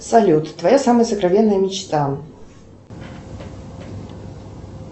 салют твоя самая сокровенная мечта